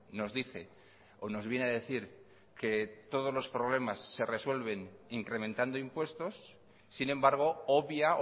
nos dice o nos viene a decir que todos los problemas se resuelven incrementando impuestos sin embargo obvia